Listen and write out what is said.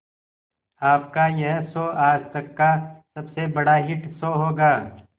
आपका यह शो आज तक का सबसे बड़ा हिट शो होगा